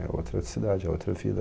É outra cidade, é outra vida.